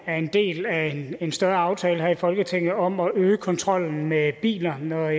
er en del af en større aftale her i folketinget om at øge kontrollen med biler når